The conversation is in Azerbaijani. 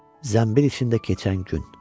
Zənbil içində keçən gün.